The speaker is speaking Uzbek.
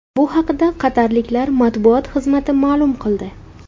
Bu haqida qatarliklar matbuot xizmati ma’lum qildi .